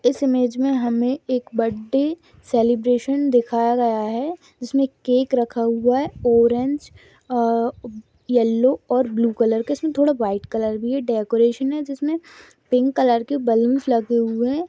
इस इमेज में हमे एक बर्थडे सेलिब्रेशन दिखाया गया है जिसमें केक रखा हुआ है ऑरेंज येलो और ब्लू कलर का इसमें थोड़ा व्हाइट कलर भी है डेकोरेशन है जिसमें पिंक कलर के बलूनस लगे हुए हैं।